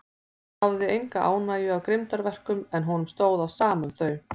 Hann hafði enga ánægju af grimmdarverkum, en honum stóð á sama um þau.